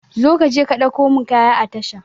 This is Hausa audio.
Zo ka je ka ɗauko mun kaya a tasha